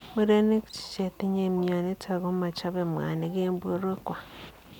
Murenik cheyinye mionitok komachopei mwanik eng porwek kwai